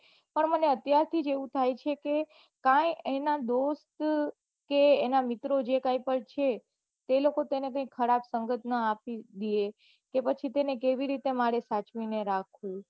પન મને અત્યારથી જ એવું થાય છે કે પન એના દોસ્ત કે એના મિત્ર જે ટાઈપ ના છે તે લોકો તે થી ખરાબ સંગત માં ના આપી દઈ એ તો પછી તેને કેવી રીતે સાચવી રાખવો